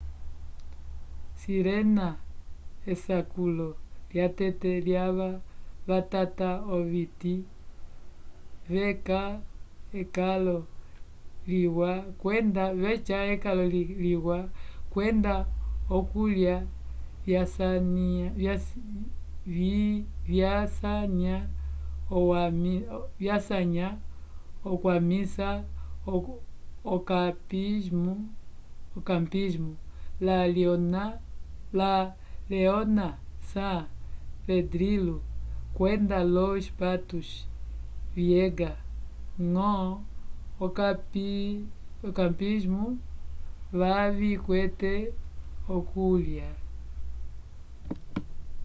sirena esakulo lyatete lyava vatata oviti vyeca ekalo liwa kwenda okulya vyasanya okwamisa okampismu la leona san pedrillo kwenda los patos vyeca ñgo okampismu kavikwete okuliya